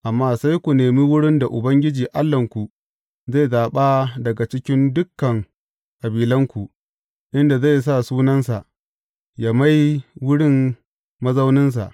Amma sai ku nemi wurin da Ubangiji Allahnku zai zaɓa daga cikin dukan kabilanku, inda zai sa Sunansa, yă mai wurin mazauninsa.